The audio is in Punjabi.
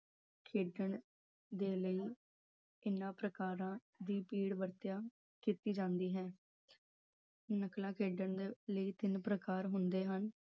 ਖੇਡਣ ਦੇ ਲਈ ਇਹਨਾਂ ਪ੍ਰਕਾਰਾ ਦੇ ਪੀੜ ਦੀ ਵਰਤੋਂ ਕੀਤੀ ਜਾਂਦੀ ਹੈ। ਨਕਲਾਂ ਖੇਡਣ ਲਈ ਤਿੰਨ ਪ੍ਰਕਾਰ ਹੁੰਦੇ ਹਨ